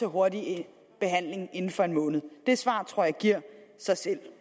hurtig behandling inden for en måned det svar tror jeg giver sig selv